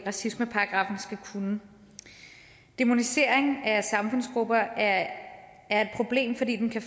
racismeparagraffen skal kunne dæmonisering af samfundsgrupper er er et problem fordi den kan